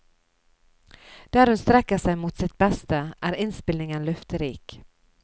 Der hun strekker seg mot sitt beste, er innspillingen løfterik.